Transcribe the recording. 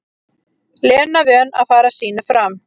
Lena vön að fara sínu fram.